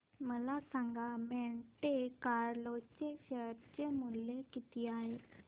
मला सांगा Monte Carlo चे शेअर मूल्य किती आहे